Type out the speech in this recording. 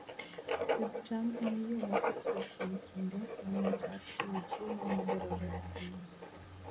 Pidh cham en yo mosetiyo kuom kinde malach mar chiwo chiemo madwarore ahinya.